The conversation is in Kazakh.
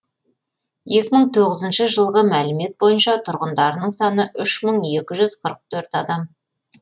екі мың тоғызыншы жылғы мәлімет бойынша тұрғындарының саны үш мың екі жүз қырық төрт адам